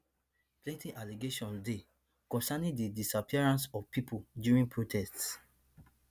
plenty allegations dey concerning di disappearances of pipo during protests